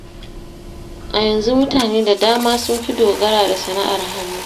A yanzu mutane da dama sun fi dogara da sana'ar hannu.